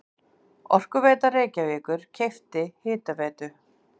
Orkuveita Reykjavíkur keypti Hitaveitu